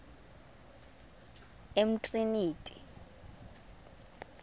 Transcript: umtriniti